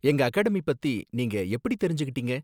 எங்க அகாடமி பத்தி நீங்க எப்படி தெரிஞ்சுக்கிட்டீங்க?